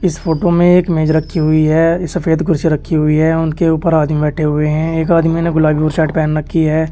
इस फोटो में एक मेज रखी हुई है सफेद कुर्सी रखी हुई है उनके ऊपर आदमी बैठे हुए हैं एक आदमी ने गुलाबी बुशर्ट पहन रखी है।